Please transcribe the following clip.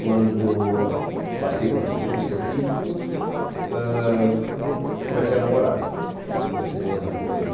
Quando passei para o segundo, o científico, eh eu comecei a namorar, com a minha esposa, ainda hoje.